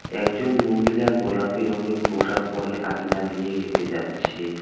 একজন মহিলা গোলাপি রঙের পোশাক পড়ে আঙিনা দিয়ে হেঁটে যাচ্ছে।